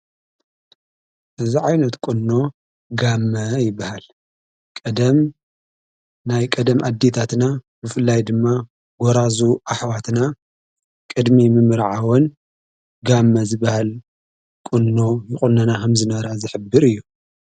እዝ ዓይነት ቅኖ ጋመ ይበሃል ቀደም ናይ ቀደም ኣዲታትና ብፍላይ ድማ ጐራዙ ኣኅዋትና ቅድሚ ምምርዓወን ጋመ ዝበሃል ቊኖ ይቖነና ሃምዝነራ ዝኅብር እዩ::